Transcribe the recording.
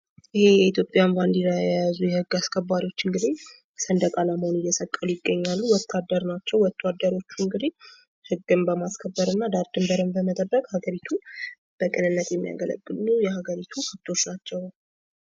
ይህ የኢትዮጵያን ባንዲራ የያዙ የህግ አስከባሪዎች እንግዲህ ሰንደቅ ዓላማውን እየሰቀሉ ይገኛሉ ። ወታደር ናቸው ወታዶሮቹ እንግዲህ ህግን በማስከብር እና ዳር ድንበርን በመጠበቅ ሀገሪቱን በቅንነት የሚያገለግሉ የሀገሪቱ ህጎች ናቸው ።